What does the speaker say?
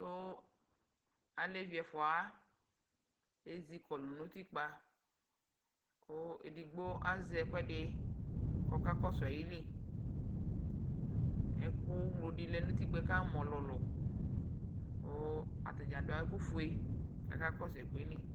To alevi ɛfua wa ezikɔlu no utikpa ko edigbo azɛ ɛkuɛde kɔka kɔao ayiliƐku mlo de lɛ no utikpaɛ kamu ɔlulu ko ata dz a do ɛku fue kala kɔso ɛkuɛ li